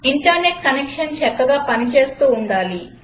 internet connection చక్కగా పనిచేస్తుండాలి